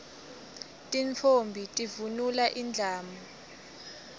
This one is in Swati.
tintfombi tivunula indlamu